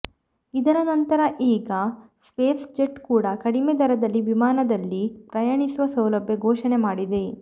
ಇದರ ನಂತರ ಈಗ ಸ್ಪೈಸ್ ಜೆಟ್ ಕೂಡ ಕಡಿಮೆ ದರದಲ್ಲಿ ವಿಮಾನದಲ್ಲಿ ಪ್ರಯಾಣಿಸುವ ಸೌಲಭ್ಯ ಘೋಷಣೆ ಮಾಡಿದೆ